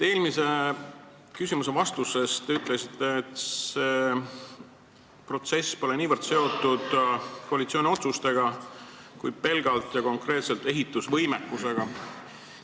Eelmisele küsimusele vastates te ütlesite, et see protsess pole niivõrd seotud koalitsiooni otsustega, kuivõrd pelgalt ja konkreetselt ehitusvõimekusega.